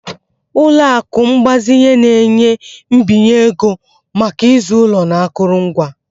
Ụlọ akụ mgbazinye na-enye mbinye ego maka ịzụ ụlọ na akụrụngwa.